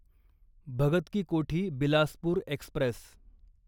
Bhagat ki Kothi Bilaspur Express